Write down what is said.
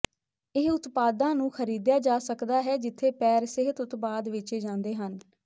ਇਹ ਉਤਪਾਦਾਂ ਨੂੰ ਖਰੀਦਿਆ ਜਾ ਸਕਦਾ ਹੈ ਜਿੱਥੇ ਪੈਰ ਸਿਹਤ ਉਤਪਾਦ ਵੇਚੇ ਜਾਂਦੇ ਹਨ